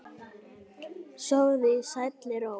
Sofðu í sælli ró.